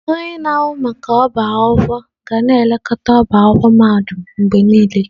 Onye na-ahụ maka ọbá akwụkwọ ga na-elekọta ọbá akwụkwọ mahadum mgbe niile.